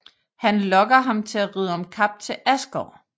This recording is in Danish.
Han lokker ham til at ridde om kap til Asgård